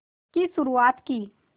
की शुरुआत की